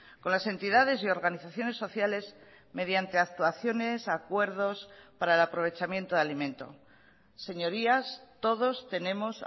con las entidades y organizaciones sociales mediante actuaciones acuerdos para el aprovechamiento de alimento señorías todos tenemos